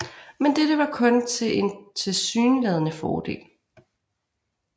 Men dette var kun en tilsyneladende fordel